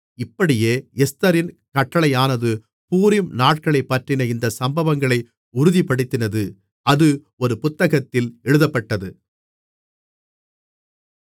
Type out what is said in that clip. இப்படியே எஸ்தரின் கட்டளையானது பூரீம் நாட்களைப்பற்றின இந்த சம்பவங்களை உறுதிப்படுத்தினது அது ஒரு புத்தகத்தில் எழுதப்பட்டது